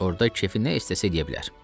Orda kefi nə istəsə eləyə bilər.